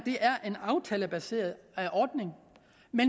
en aftalebaseret ordning